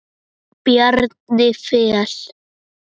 Bjarni Fel.